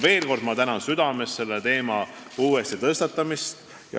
Ma tänan veel kord südamest selle teema uuesti tõstatamise eest.